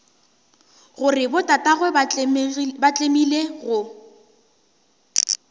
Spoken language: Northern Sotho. gore botatagwe ba tlemile go